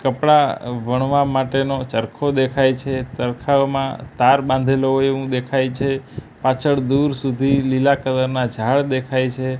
કપડા વણવા માટેનો ચરખો દેખાય છે ચરકાઓમાં તાર બાંધેલો હોય એવું દેખાય છે પાછળ દૂર સુધી લીલા કલર ના ઝાડ દેખાય છે.